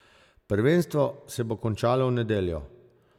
Prvenstvo se bo končalo v nedeljo.